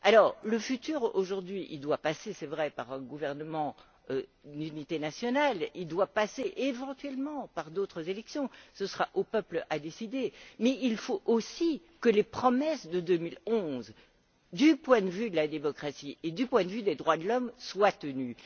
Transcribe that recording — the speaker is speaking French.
Alors, le futur, aujourd'hui, doit passer, c'est vrai, par un gouvernement d'unité nationale, il doit passer, éventuellement, par d'autres élections ce sera au peuple de décider mais il faut aussi que les promesses de 2011, du point de vue de la démocratie et des droits de l'homme, soient tenues.